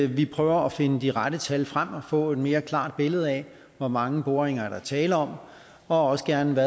vi prøver at finde de rette tal frem og få et mere klart billede af hvor mange boringer der er tale om og også gerne